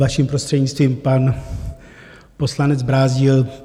Vaším prostřednictvím, pan poslanec Brázdil.